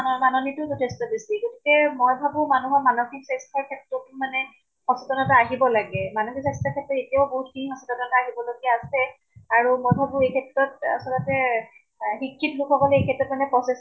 মাননীতো যথেষ্ট বেছি। গতিকে মই ভাবো মানুহৰ মানসিক স্বাস্থ্য়ৰ ক্ষেত্ৰতো মানে সচেতনতা আহিব লাগে। মানসিক স্বাস্থ্য়ৰ ক্ষেত্ৰত এতিয়াও নহুত খিনি সচেতনতা আহিব লগিয়া আছে। আৰু মই ভাবো এই ক্ষেত্ৰত আচলতে এহ শিক্ষিত লোক সকলে এই ক্ষেত্ৰত মানে প্ৰচেষ্টা